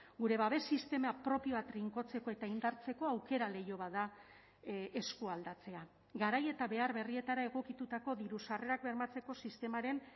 gure babes sistema propioa trinkotzeko eta indartzeko aukera leiho bat da eskualdatzea garai eta behar berrietara egokitutako diru sarrerak bermatzeko sistemaren